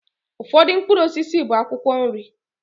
Ụfọdụ mkpụrụ osisi bụ akwụkwọ nri